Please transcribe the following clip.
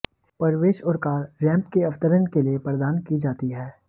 प्रवेश और car ramp के अवतरण के लिए प्रदान की जाती हैं